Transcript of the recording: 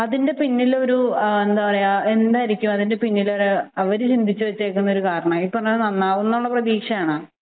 അതിന്റെ പിന്നിൽ എന്തായിരിക്കും അവർ ചിന്തിച്ചു വച്ചിരിക്കുന്ന കാരണം അവർ പ്രതീക്ഷയാണോ